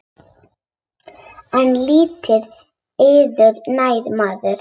En lítið yður nær maður.